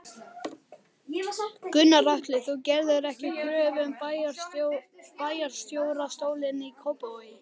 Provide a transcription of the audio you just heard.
Gunnar Atli: Þú gerðir ekki kröfu um bæjarstjórastólinn í Kópavogi?